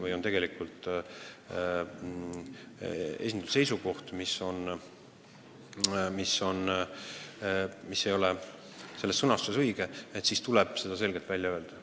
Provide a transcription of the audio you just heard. Kui teatud sõnastusest on välja loetud täiesti vale seisukoht, siis tuleb see selgelt välja öelda.